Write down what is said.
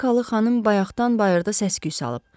Amerikalı xanım bayaqdan bayırda səs-küy salıb.